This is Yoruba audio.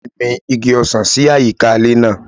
Ìyá mi gbin igi ọsàn sí àyíká ilé náà.